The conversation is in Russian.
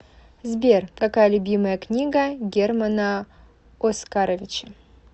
сбер какая любимая книга германа оскаровича